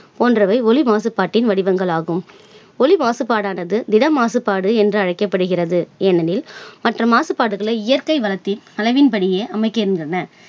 போன்றவை ஒலி மாசுபாட்டின் வடிவங்களாகும். ஒலி மாசுபாடானது திடமாசுபாடு என்று அழைக்கப்படுகிறது. எனவே மற்ற மாசுபாடுகளை இயற்கை வளத்தின் அளவின் படியே அமைகின்றன.